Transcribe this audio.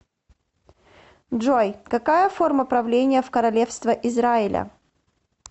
джой какая форма правления в королевство израиля